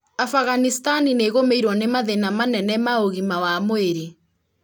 Afghanistan nĩ ĩgũmĩirwo nĩ mathĩna manene ma ũgima wa mwĩrĩ